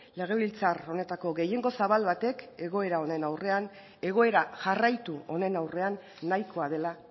legebiltzar honetako gehiengo zabal batek egoera honen aurrean egoera jarraitu honen aurrean nahikoa dela